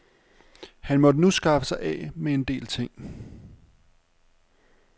Han måtte nu skaffe sig af med en del ting.